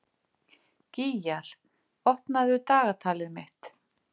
Gýgjar, opnaðu dagatalið mitt.